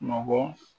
Nɔgɔ